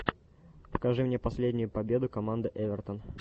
покажи мне последнюю победу команды эвертон